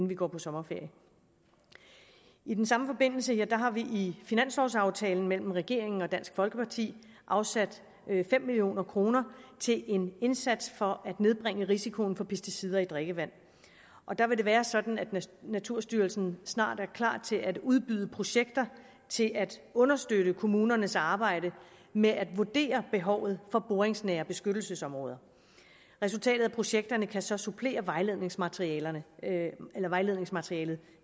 vi går på sommerferie i den samme forbindelse har vi i finanslovaftalen mellem regeringen og dansk folkeparti afsat fem million kroner til en indsats for at nedbringe risikoen for pesticider i drikkevand der vil det være sådan at naturstyrelsen snart er klar til at udbyde projekter til at understøtte kommunernes arbejde med at vurdere behovet for boringsnære beskyttelsesområder resultatet af projekterne kan så supplere vejledningsmaterialet vejledningsmaterialet